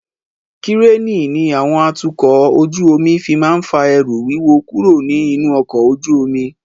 Kíréènì ni àwọn atukọ̀ ojú omi fi máa ń fa ẹrù wíwo kúrò ní inú ọkọ ojú omi.